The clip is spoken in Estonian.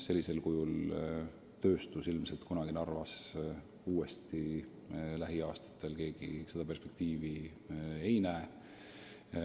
Sellisel kujul tööstus ilmselt kunagi Narvas ei taastu, vähemalt lähimatel aastatel keegi seda perspektiivi ei näe.